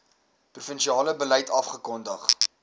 provinsiale beleid afgekondig